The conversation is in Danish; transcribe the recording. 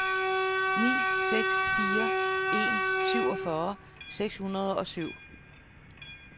ni seks fire en syvogfyrre seks hundrede og syv